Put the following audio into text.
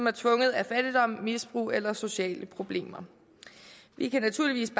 er tvunget af fattigdom misbrug eller sociale problemer vi kan naturligvis